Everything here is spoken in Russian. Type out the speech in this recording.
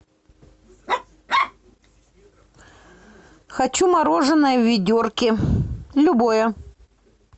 хочу мороженое в ведерке любое